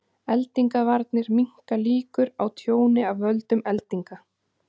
Eldingavarar minnka líkur á tjóni af völdum eldinga.